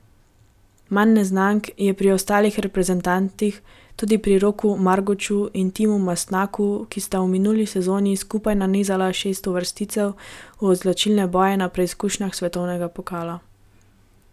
Manj neznank je pri ostalih reprezentantih, tudi pri Roku Marguču in Timu Mastnaku, ki sta v minuli sezoni skupaj nanizala šest uvrstitev v izločilne boje na preizkušnjah svetovnega pokala.